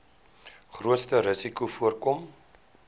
grootste risikos voorkom